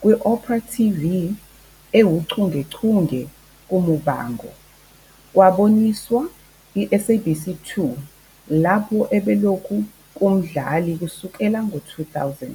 kwi opera TV ewuchungechunge "kuMuvhango" kwaboniswa i-SABC 2, lapho ubelokhu kumdlali kusukela 2000.